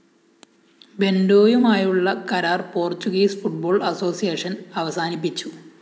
ബെന്റോയുമായുള്ള കരാര്‍ Portuguese football association അവസാനിപ്പിച്ചു